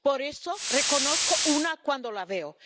Por eso reconozco una cuando la veo.